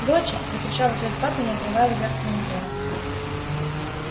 доча закричал в ответ папа не отрывая взгляд от монитора